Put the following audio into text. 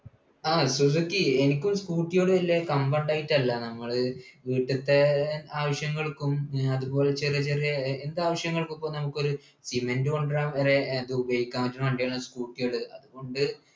ആ സുസൂക്കി എനിക്കും scooter യോട് വല്യ കമ്പണ്ടായിറ്റല്ല നമ്മള് വീട്ടിൽത്തെ ആവശ്യങ്ങൾക്കും പിന്നെ അതുപോലെ ചെറിയ ചെറിയ ഏർ ഏതാവശ്യങ്ങൾക്കു ഇപ്പൊ നമ്മുക്കൊരു cement കൊണ്ടരാൻ വരെ ഏർ അതുപയോഗിക്കാ പറ്റുന്ന വണ്ടിയാണ് scooter കള് അതുകൊണ്ട്